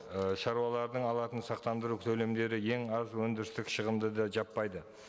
і шаруалардың алатын сақтандыру төлемдері ең аз өндірістік шығынды да жаппайды